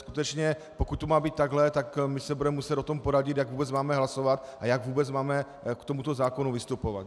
Skutečně pokud to má být takhle, tak my se budeme muset o tom poradit, jak vůbec máme hlasovat a jak vůbec máme k tomuto zákonu vystupovat.